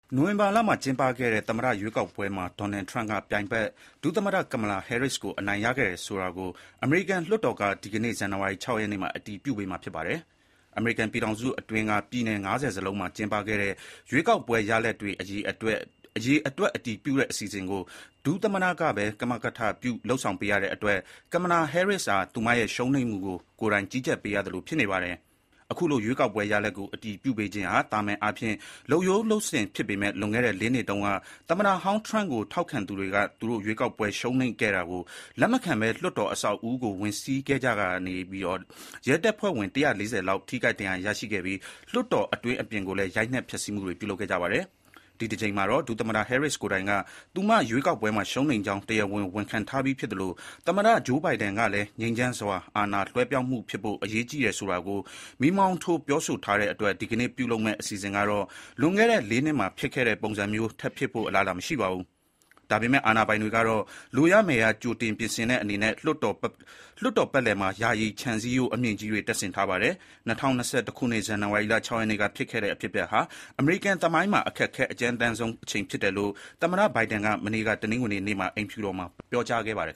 နိုဝင်ဘာလမှာ ကျင်းပခဲ့တဲ့ သမ္မတ ရွေးကောက်ပွဲမှာ Donald Trump က ပြိုင်ဘက် ဒုသမ္မတ Kamala Harris ကို အနိုင်ရခဲ့တယ်ဆိုတာကို အမေရိကန်လွှတ်တော်က ဒီကနေ့ ဇန်နဝါရီ ၆ ရက်နေ့မှာ အတည်ပြုပေးမှာ ဖြစ်ပါတယ်။ အမေရိကန်ပြည်ထောင်အတွင်းက ပြည်နယ် ၅၀ စလုံးမှာ ကျင်းပခဲ့တဲ့ ရွေးကောက်ပွဲရလဒ်တွေ ရေတွက်အတည်ပြုတဲ့အစီအစဉ်ကို ဒုသမ္မတကပဲ ကမကထပြုဆောင်ရွက်ပေးရတဲ့အတွက် Kamala Harris ဟာ သူရဲ့ ရှုံးနိမ့်မှုကို ကိုယ်တိုင် ဆုံးဖြတ်ပေးရသူဖြစ်နေတာပါ။ အခုလို ရွေးကောက်ပွဲရလဒ်ကို အတည်ပြုပေးခြင်းဟာ သာမန်အားဖြင့်လုပ်ရိုးလုပ်စဉ်ဖြစ်ပေမယ့် လွန်ခဲ့တဲ့ ၄ နှစ်တုန်းက သမ္မတဟောင်း Trump ကို ထောက်ခံသူတွေက သူတို့ ရွေးကောက်ပွဲရှုံးနိမ့်ခဲ့ တာကို လက်မခံဘဲ လွှတ်တော် အဆောက်အဦးကိုဝင်စီးကြရာက ရဲတပ်ဖွဲ့ဝင် ၁၄၀ လောက် ထိခိုက်ဒဏ်ရာရခဲ့ပြီး လွှတ်တော်အတွင်း အပြင်ကိုလည်း ရိုက်နှက် ဖျက်ဆီးခဲ့ကြပါတယ်။ ဒီတကြိမ်မှာတော့ ဒုသမ္မတ Harris ကိုယ်တိုင်က သူ ရွေးကောက်ပွဲမှာ ရှုံးနိမ့်ကြောင်း တရားဝင် ဝန်ခံထားပြီးဖြစ်သလို သမ္မတ Joe Biden ကလည်း ငြိမ်းချမ်းစွာ အာဏာလွဲပြောင်းဖို့ အရေးကြီးတယ် ဆိုတာကို မီးမောင်းထိုး ပြောဆိုထားတဲ့အတွက် ဒီကနေ့ ပြုလုပ်မယ့် အစီအစဉ်ကတော့ လွန်ခဲ့တဲ့ ၄ နှစ်မှာ ဖြစ်ခဲ့တဲ့ပုံစံမျိုး ထပ်ဖြစ်ဖို့ အလားအလာ မရှိပါဘူး။ ဒါပေမယ့် အာဏာပိုင်တွေကတော့ လိုရမယ်ရ ကြိုတင် ပြင်ဆင်တဲ့အနေနဲ့ လွှတ်တော်ပတ်လည်မှာ ယာယီခြံစည်းရိုးအမြင့်ကြီးတွေ တပ်ဆင်ထားပါတယ်။ လွန်ခဲ့တဲ့ ၂၀၂၁ ခုနှစ်၊ ဇန်နဝါရီလ ၆ ရက်နေ့က ဖြစ်ခဲ့တဲ့အဖြစ်အပျက်ကတော့ အမေရိကန်သမိုင်းမှာ အခက်ခဲ အကြမ်းတမ်းဆုံးအချိန်ဖြစ်တယ်လို့ သမ္မတ Biden က မနေ့ တနင်္ဂနွေနေ့က အိမ်ဖြူတော်မှာ ပြောကြားခဲ့ပါတယ်